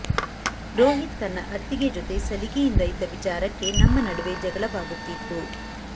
ರೋಹಿತ್ ತನ್ನ ಅತ್ತಿಗೆ ಜೊತೆ ಸಲಿಗೆಯಿಂದ ಇದ್ದ ವಿಚಾರಕ್ಕೆ ನಮ್ಮ ನಡುವೆ ಜಗಳವಾಗುತ್ತಿತ್ತು